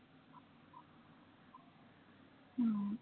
हम्म